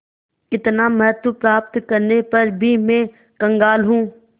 इतना महत्व प्राप्त करने पर भी मैं कंगाल हूँ